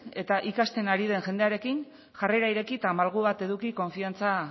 eta ikasten ari den jendearekin jarrera ireki eta malgu bat eduki konfiantza